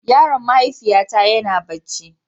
Yaron mahaifiyata yana barci.